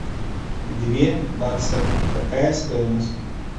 две баксов какая стоимость